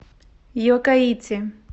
йоккаити